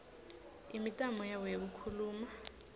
imitamo yabo yekukhuluma